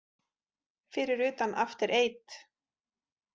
Fyrir utan After Eight.